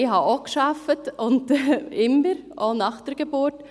Ich habe auch gearbeitet, immer, auch nach der Geburt.